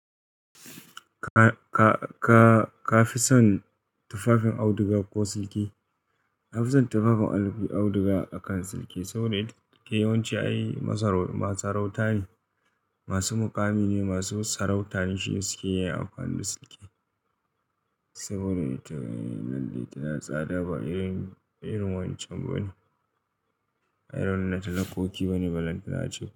Ka, ka fi son tufafin auduga ko silki? Na fi son tufafin auduga akan silki saboda silki yawanci ayi masaraut-- masu sarauta ne, masu muƙami ne, masu sarauta ne shine suke yi amfani da silki. Saboda ita lalle tana tsada ba irin, irin wancan bane. Irin na talakoki bane, balan talece.